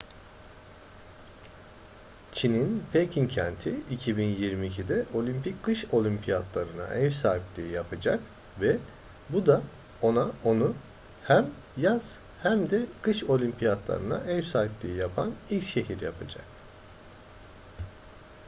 çin'in pekin kenti 2022'de olimpik kış oyunlarına ev sahipliği yapacak ve bu da onu hem yaz hem de kış olimpiyatlarına ev sahipliği yapan ilk şehir yapacak